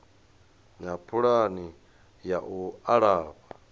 na pulani ya u alafha